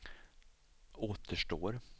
återstår